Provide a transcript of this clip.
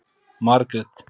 Margrét